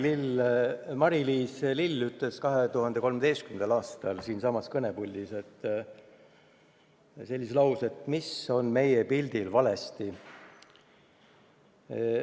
Näitleja Mari-Liis Lill esitas 2013. aastal siinsamas kõnepuldis sellise küsimuse: "Mis on meie pildil valesti?